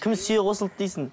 кім сүйе қосылды дейсің